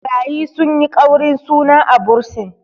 ɓarayi sun yi ƙaurin suna a bursin